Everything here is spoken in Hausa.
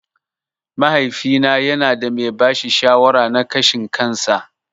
Mahaifina yanada mai bashi shawara na ƙashin kansa.